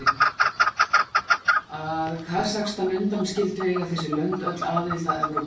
Að Kasakstan undanskildu eiga þessi lönd öll aðild að Evrópuráðinu.